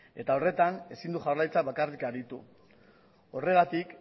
eta horretan ezin du jaurlaritza bakarrik aritu horregatik